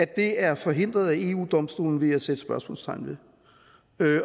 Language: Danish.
det er forhindret af eu domstolen vil jeg sætte spørgsmålstegn ved